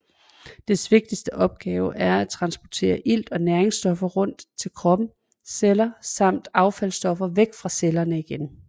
Dets vigtigste opgave er at transportere ilt og næringsstoffer rundt til kroppens celler samt affaldsstoffer væk fra cellerne igen